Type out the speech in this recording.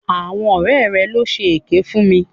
Àwọn ọ̀rẹ́ rẹ̀ ló ṣe èké fún mi.